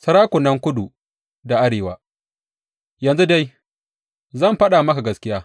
Sarakunan kudu da arewa Yanzu dai, zan faɗa maka gaskiya.